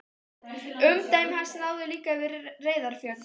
Umdæmi hans náði líka yfir Reyðarfjörð.